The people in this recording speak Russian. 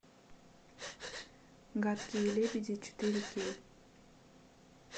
гадкие лебеди четыре кей